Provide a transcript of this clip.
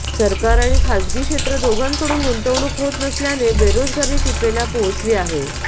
सरकार आणि खासगी क्षेत्र दोघांकडून गुंतवणूक होत नसल्याने बेरोजगारी टिपेला पोहोचली आहे